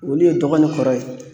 Olu ye dɔgɔ ni kɔrɔ ye.